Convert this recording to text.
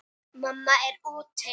Mamma er úti.